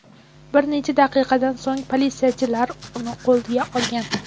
Bir necha daqiqadan so‘ng politsiyachilar uni qo‘lga olgan.